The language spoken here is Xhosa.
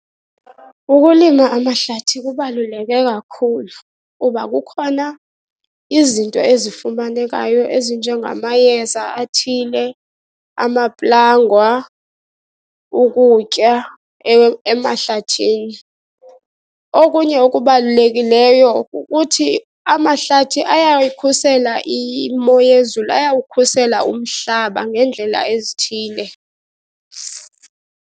Ukulima amahlathi kubaluleke kakhulu kuba kukhona izinto ezifumanekayo ezinjengamayeza athile, amaplangwa, ukutya emahlathini. Okunye okubalulekileyo kukuthi amahlathi ayayikhusela imo yezulu, ayawukhusela umhlaba ngeendlela ezithile.